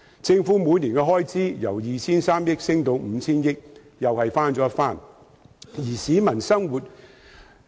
政府每年的開支由 2,300 億元上升至 5,000 億元，同樣翻了一番。